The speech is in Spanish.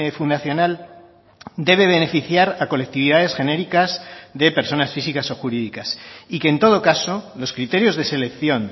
fundacional debe beneficiar a colectividades genéricas de personas físicas o jurídicas y que en todo caso los criterios de selección